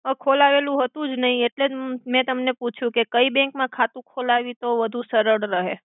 ખોલાવેલુ હતુ જ નઇ એટ્લે જ મે તમને પુછીયુ કે કઇ બેંક મા ખાતુ ખોલાવી તો વધુ સરડ રહે.